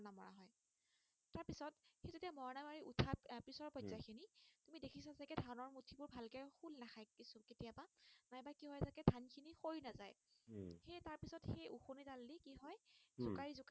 উম জোকাৰি জোকাৰি